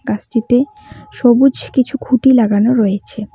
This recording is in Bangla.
গাছটিতে সবুজ কিছু খুঁটি লাগানো রয়েছে।